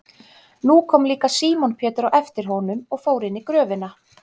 Nú kom líka Símon Pétur á eftir honum og fór inn í gröfina.